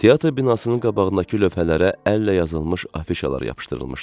Teatr binasının qabağındakı lövhələrə əllə yazılmış afişalar yapışdırılmışdı.